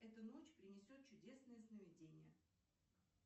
эта ночь принесет чудесные сновидения